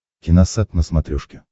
киносат на смотрешке